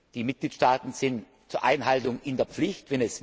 Die Mitgliedstaaten sind zur Einhaltung in der Pflicht.